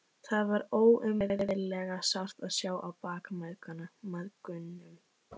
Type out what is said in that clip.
Það var óumræðilega sárt að sjá á bak mæðgunum.